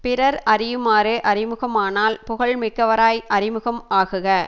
பிறர் அறியுமாறு அறிமுகமானால் புகழ் மிக்கவராய் அறிமுகம் ஆகுக